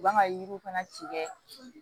U b'an ka yiriw fana tigɛ